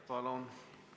Palun!